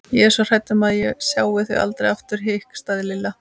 Ég er svo hrædd um að ég sjái þau aldrei aftur hikstaði Lilla.